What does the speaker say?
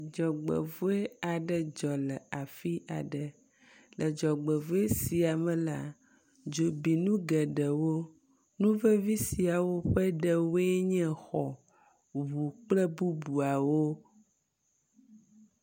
Dzɔgbevɔ̃e aɖe dzɔ le afi aɖe. Le dzɔgbevɔ̃e sia me la, dzo bi nu geɖewo. Nu vevi sia ƒe ɖewoe nye xɔ, ŋu kple bubuawo.